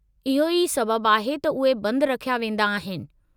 इहो ई सबबु आहे त उहे बंदि रखिया वेंदा आहिनि।